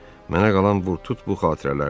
Mənə qalan vur tut bu xatirələrdir.